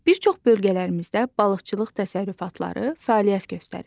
Bir çox bölgələrimizdə balıqçılıq təsərrüfatları fəaliyyət göstərir.